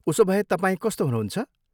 उसोभए, तपाईँ कस्तो हुनुहुन्छ?